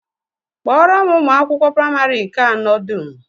Kpọọrọ m ụmụ akwụkwọ praịmarị nke anọ dum!